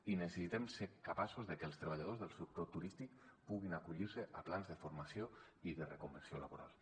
i necessitem ser capaços de que els treballadors del sector turístic puguin acollir se a plans de formació i de reconversió laborals